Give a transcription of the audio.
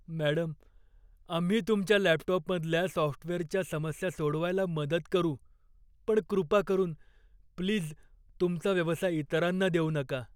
Madam, आम्ही तुमच्या laptop मधल्या सॉफ्टवेअरच्या समस्या सोडवायला मदत करू पण कृपा करून, प्लीज तुमचा व्यवसाय इतरांना देऊ नका.